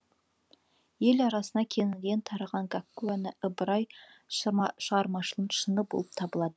ел арасына кеңінен тараған гәкку әні ыбырай шығармашылығының шыңы болып табылады